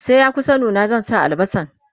sai ya kusa nuna zan zuba albasan